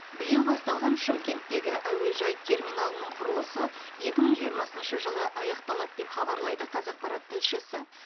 биыл басталған шымкенттегі әуежай терминалының құрылысы екі мың жиырмасыншы жылы аяқталады деп хабарлайды қазақпарат тілшісі